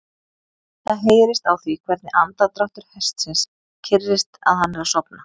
Það heyrist á því hvernig andardráttur hestsins kyrrist að hann er að sofna.